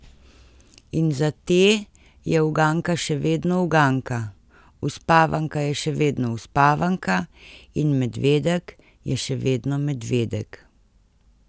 In za te je uganka še vedno uganka, uspavanka je še vedno uspavanka in medvedek je še vedno medvedek.